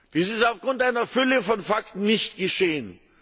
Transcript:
Dies ist aufgrund einer Fülle von Fakten nicht geschehen.